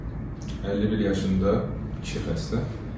51 yaşında kişi xəstə.